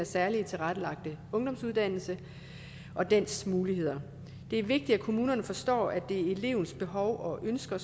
særligt tilrettelagte ungdomsuddannelse og dens muligheder det er vigtigt at kommunerne forstår at det er elevens behov og ønsker